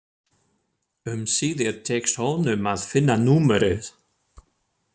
Um síðir tekst honum að finna númerið.